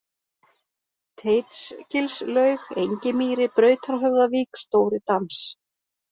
Teitsgilslaug, Engimýri, Brautarhöfðavík, Stóri-Dans